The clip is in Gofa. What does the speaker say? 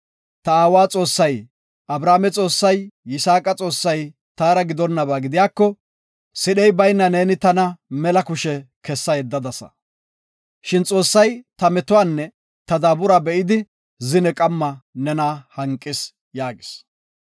Ta aawa Xoossay, Abrahaame Xoossay, Yisaaqi Xoossay taara gidonaba gidiyako, sidhey bayna neeni tana mela kushe kessa yeddadasa. Shin Xoossay ta metuwanne ta daabursa be7idi zine qamma nena hanqis” yaagis.